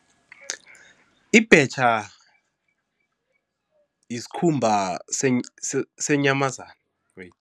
Ibhetjha iskhumba seenyamazana